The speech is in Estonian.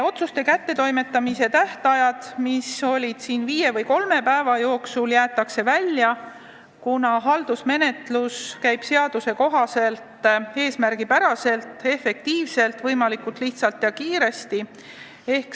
Otsuste kättetoimetamise tähtajad, mis on seni olnud kolm kuni viis päeva, jäetakse välja, kuna haldusmenetlus toimub seaduse kohaselt eesmärgipäraselt, efektiivselt, võimalikult lihtsalt ja kiiresti.